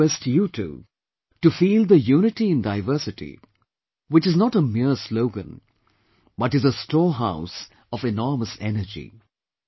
I request you too, to feel the "Unity in Diversity" which is not a mere slogan but is a storehouse of enormous energy